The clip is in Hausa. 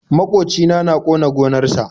maƙocina. na ƙona gonar sa.